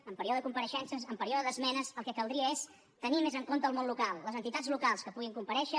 en període de compareixences en període d’esmenes el que caldria és tenir més en compte el món local les entitats locals que puguin comparèixer